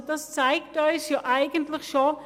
» Das zeigt uns eigentlich schon: